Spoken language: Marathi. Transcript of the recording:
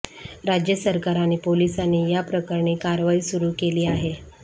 राज्य सरकार आणि पोलिसांनी या प्रकरणी कारवाई सुरू केली आहे